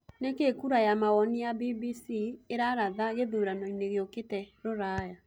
ni kĩĩ kura ya mawoni ya b.b.c iraratha gĩthũranoĩnĩ gĩũkĩte ruraya